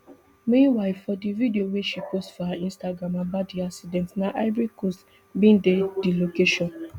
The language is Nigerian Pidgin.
meanwhile for di video wey she post for her instagram about di accident na ivory coast bin dey di location